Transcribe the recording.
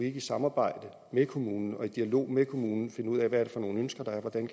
ikke i samarbejde med kommunen og i dialog med kommunen finde ud af hvad for nogle ønsker der er hvordan